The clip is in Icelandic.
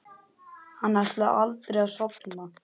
Hann ætlaði aldrei að sofna.